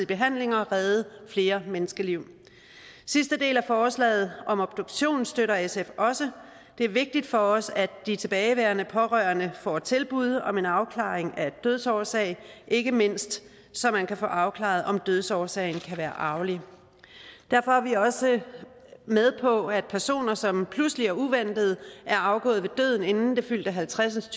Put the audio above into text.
behandlinger og redde flere menneskeliv sidste del af forslaget som om obduktion støtter sf også det er vigtigt for os at de tilbageværende pårørende får tilbud om en afklaring af dødsårsag ikke mindst så man kan få afklaret om dødsårsagen kan være arvelig derfor er vi også med på at personer som pludselig og uventet er afgået ved døden inden det fyldte halvtreds